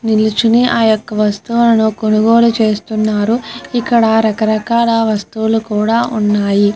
నిలుచొని ఆ యొక వస్తువులను కొనుగోళ్ళు చేస్తున్నారు ఇక్కడ రక రకాల వస్తువుల్లు కూడా ఉన్నాయి.